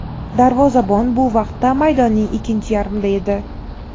Darvozabon bu vaqtda maydonning ikkinchi yarmida edi.